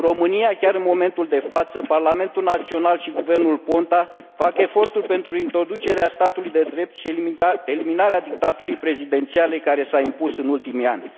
În România, chiar în momentul de față, parlamentul național și guvernul Ponta fac eforturi pentru introducerea statului de drept și eliminarea dictaturii prezidențiale care s a impus în ultimii ani.